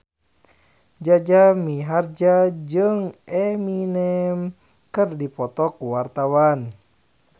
Jaja Mihardja jeung Eminem keur dipoto ku wartawan